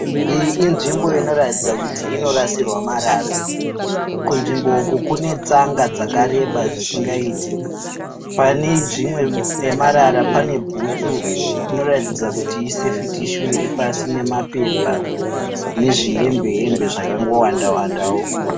Iyi inzvimbo inoratidza kuti inorasirwa marara. Kunzvimbo uku kune tsanga dzakareba zvisingaite. Pane zvimwe pepamara pane bhutu inoratidza kuti i "safety shoe" iripasi nemapepa nezvihembe zvakangowanda wandawo.